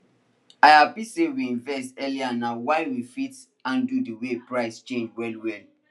i happy say we invest earlyna why we fit handle the way prices change well well